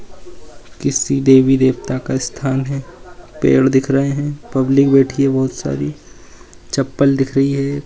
किसी देवी-देवता का स्थान है पेड़ दिख रहे हैं पब्लिक बैठी है बहुत सारी चप्पल दिख रही है।